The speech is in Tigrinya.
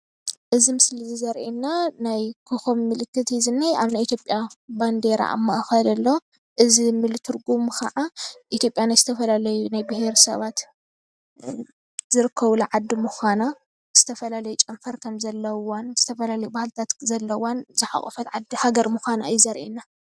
እዚ ምስሊ እዚ ዘሪኤና ናይ ኮኾብ ምልክት እዩ ዝኒሀ፤ ኣብ ናይ ኢት/ያ ባንዴራ ኣብ ማእኸል ኣሎ፡፡ እዚ ሙሉእ ትርጉሙ ከዓ ኢት/ያ ናይ ዝተፈላለዩ ብሄር-ብሄረሰባት ዝርከቡላ ዓዲ ምኳናን እቲ ዝተፈላለየ ጨንፈራት ድማ ዝተፈላለዩ ባህልታት ዘለዋን ዝሓቖፈትን ዓዲ ምኳና እዩ ዘሪአና፡፡